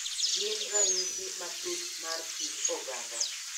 Gin ranyisi matut mar kit oganda,